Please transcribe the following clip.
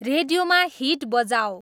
रेडियोमा हिट बजाऔं